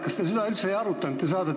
Kas te seda üldse ei arutanud?